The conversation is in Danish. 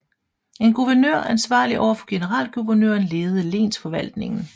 En guvernør ansvarlig over for generalguvernøren ledede lensforvaltningen